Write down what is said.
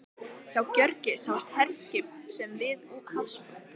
Frá Gjögri sáust herskip úti við hafsbrún